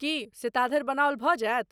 की से ताधरि बनाओल भऽ जायत?